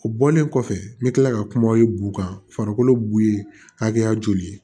O bɔlen kɔfɛ n bɛ tila ka kuma bu kan farikolo bu hakɛya joli